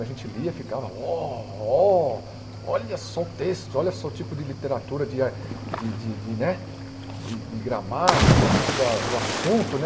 A gente lia e ficava uó ó... Olha só o texto, olha só o tipo de literatura, de ar de de né de de gramática, tipo da do assunto né.